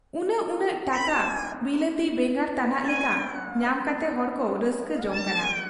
ᱩᱱᱟᱹᱜ ᱩᱱᱟᱹᱜ ᱴᱟᱠᱟ ᱵᱤᱞᱟᱹᱛᱤ ᱵᱮᱸᱜᱟᱲ ᱛᱟᱱᱟᱜ ᱞᱮᱠᱟ ᱧᱟᱢ ᱠᱟᱛᱮ ᱦᱚᱲᱠᱚ ᱨᱟᱹᱥᱠᱟᱹ ᱡᱚᱝ ᱠᱟᱱᱟ ᱾